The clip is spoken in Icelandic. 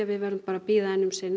við veðrum að bíða um sinn